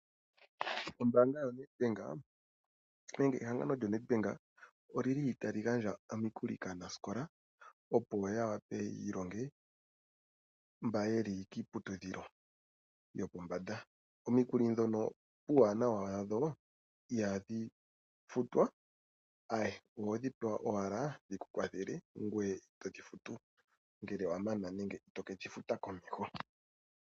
Ombanga yaNEDBANK otayi gandja omikuli kaanasikola opo ya wape yiilonge mba yeli kiiputudhilo yopombanda. Omikuli ndhika puu wanawa wadho ihadhi futwa mule wethimbo efupi, ashike ohodhi futu owala shampa wamana okwiilonga unene ngele watameke okulonga.